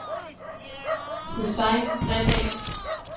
Hussein Bredahl